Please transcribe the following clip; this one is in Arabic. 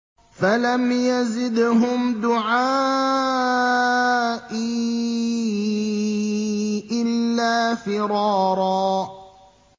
فَلَمْ يَزِدْهُمْ دُعَائِي إِلَّا فِرَارًا